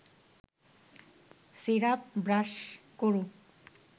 syrup brush করুন